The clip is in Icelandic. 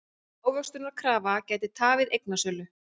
Ávöxtunarkrafa gæti tafið eignasölu